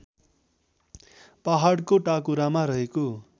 पहाडको टाकुरामा रहेको